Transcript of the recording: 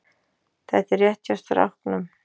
Þetta er rétt hjá stráknum.